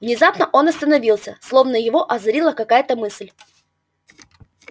внезапно он остановился словно его озарила какая-то мысль